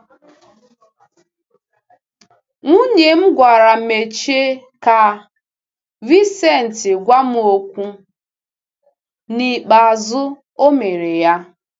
Nwunye m gwara Meche ka Vicente gwa m okwu, n’ikpeazụ, o mere ya.